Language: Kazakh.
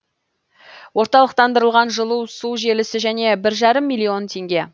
орталықтандырылған жылу су желісі және бір жарым миллион теңге